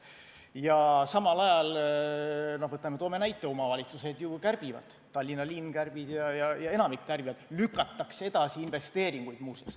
Ja samal ajal, toome näite, omavalitsused ju kärbivad, Tallinna linn kärbib ja enamik kärbib, muuseas lükatakse edasi investeeringuid.